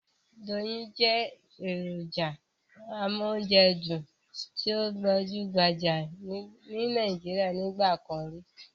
Doyin jẹ́ èròjà amóúnjẹdùn tí ó gbajúgbajà ní Nàíjíríà nígbà kan rí.